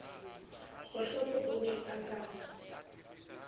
kgohlopo o ne a ka